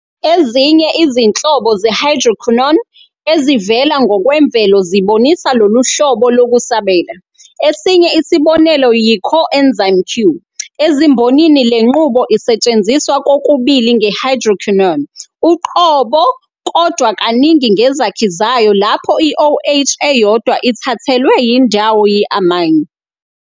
Ezinye izinhlobo ze-hydroquinone ezivela ngokwemvelo zibonisa lolu hlobo lokusabela, esinye isibonelo yi-coenzyme Q. Ezimbonini le nqubo isetshenziswa kokubili nge-hydrochinone uqobo kodwa kaningi ngezakhi zayo lapho i-OH eyodwa ithathelwe indawo yi-amine.